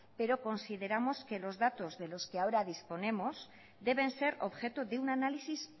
pero consideramos que los datos de los que ahora disponemos deben ser objeto de un análisis